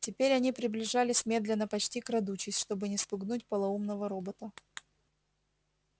теперь они приближались медленно почти крадучись чтобы не спугнуть полоумного робота